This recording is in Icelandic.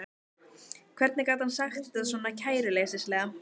Hvernig gat hann sagt þetta svona kæruleysislega?